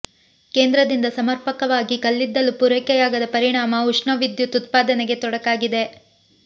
ಕೇಂದ್ರದಿಂದ ಸಮರ್ಪಕವಾಗಿ ಕಲ್ಲಿದ್ದಲು ಪೂರೈಕೆಯಾಗದ ಪರಿಣಾಮ ಉಷ್ಣ ವಿದ್ಯುತ್ ಉತ್ಪಾದನೆಗೆ ತೊಡಕಾಗಿದೆ